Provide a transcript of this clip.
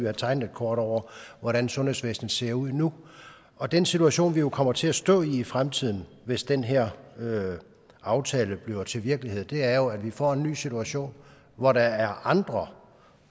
at tegne et kort over hvordan sundhedsvæsenet ser ud nu og den situation vi jo kommer til at stå i i fremtiden hvis den her aftale bliver til virkelighed er at vi får en ny situation hvor der er andre